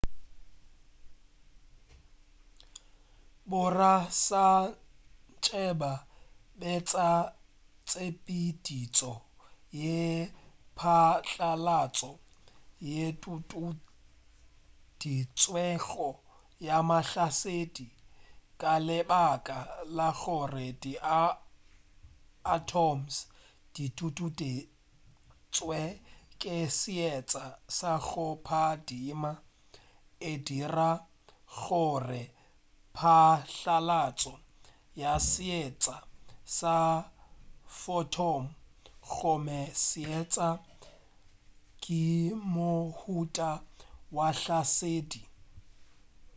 borasaentsheba betša tshepeditšo ye phatlalatšo yeo e tutueditšwego ya mahlasedi ka lebaka la gore di atoms di tutueditšwe ke seetša sa go phadima e dira gore phatlalatšo ya seetša sa photon gomme seetša ke mohuta wa mahlasedi